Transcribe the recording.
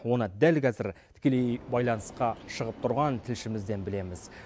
оны дәл қазір тікелей байланысқа шығып тұрған тілшімізден білеміз